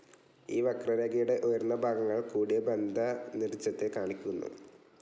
ഈ വക്രരേഖയുടെ ഉയർന്ന ഭാഗങ്ങൾ കൂടിയ ബന്ധനിർജത്തെ കാണിക്കുന്നു.